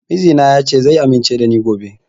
Mijina ya ce zai amince da ni gobe